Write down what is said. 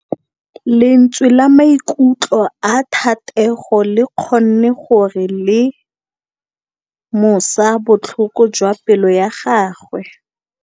Lentswe la maikutlo a Thategô le kgonne gore re lemosa botlhoko jwa pelô ya gagwe.